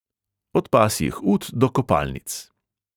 Od pasjih ut do kopalnic.